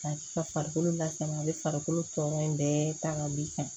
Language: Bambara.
Ka farikolo lasama a bɛ farikolo tɔɔrɔ in bɛɛ ta ka b'i san